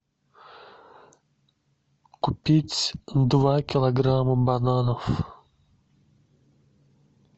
купить два килограмма бананов